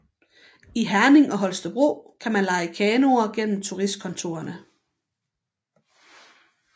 I Herning og Holstebro kan man leje kanoer gennem turistkontorerne